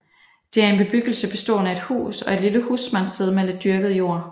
Det er en bebyggelse bestående af et hus og et lille husmandssted med lidt dyrket jord